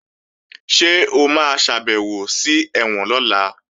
Ṣé o máa ṣàbèwò sí ẹ̀wọ̀n lọ́la?